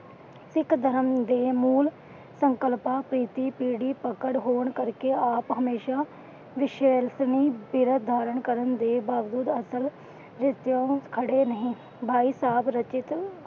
ਸਿੱਖ ਧਰਮ ਦੇ ਮੂਲ ਸੰਕਲਪਾਂ ਤੇ ਪਕੜ ਹੋਣ ਕਰਕੇ ਆਪ ਹਮੇਸ਼ਾ